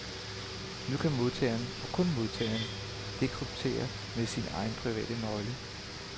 Nu kan modtageren, og kun modtageren, dekryptere med sin egen private nøgle.